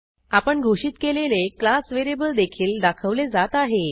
आपण घोषित केलेले क्लास व्हेरिएबल देखील दाखवले जात आहे